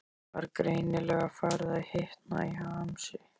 Var greinilega farið að hitna í hamsi.